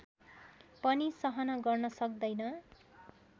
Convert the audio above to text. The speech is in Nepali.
पनि सहन गर्न सक्दैन